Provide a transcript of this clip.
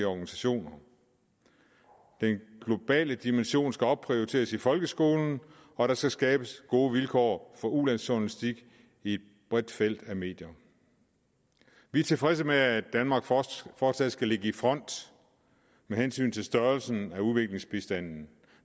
organisationer den globale dimension skal opprioriteres i folkeskolen og der skal skabes gode vilkår for ulandsjournalistik i et bredt felt af medier vi er tilfredse med at danmark fortsat fortsat skal ligge i front med hensyn til størrelsen af udviklingsbistanden